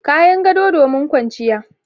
Kayan gado domin kwanciya.